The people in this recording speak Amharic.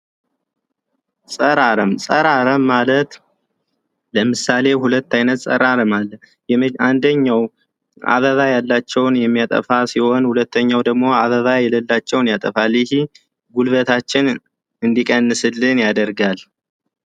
ፀረ አረም ፀረ አረም ማለት ለምሳሌ 2 አይነት ፀረ ልማት አለ። አንደኛው አበባ ያላቸውን የሚያጠፋ ሲሆን፤ ሁለተኛው ደግሞ አበባ የሌላቸውን ያጠፋል እንጂ ጉልበታችንን እንዲቀንስልን ያደርጋል።